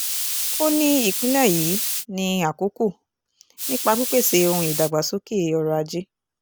ó ní ìpínlẹ̀ yìí ní àkókò nípa pípèsè ohun ìdàgbàsókè ọrọ̀ ajé